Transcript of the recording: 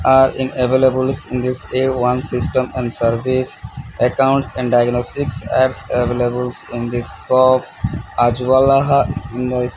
are in availables in this a one system and service accounts and diagnostics are availables in this shop in this--